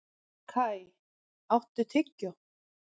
Kai, áttu tyggjó?